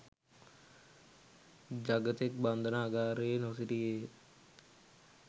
ජගතෙක් බන්ධනාගාරයේ නොසිටියේය